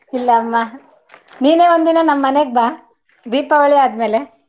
ಇಲ್ಲಮ್ಮ ನೀನೆ ಒಂದಿನ ನಮ್ಮನೇಗ್ ಬಾ ದೀಪಾವಳಿ ಆದಮೇಲೆ.